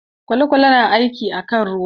Kwale-kwale na aiki kan ruwa.